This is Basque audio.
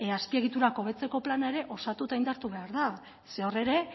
azpiegiturak hobetzeko plana ere osatu eta indartu behar da zeren hor ere